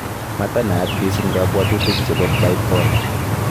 Matanaat misiing kabwatutik chebo bipolar